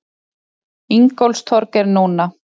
Ingólfstorg er núna.